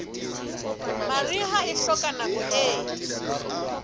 mariha e hloka nako e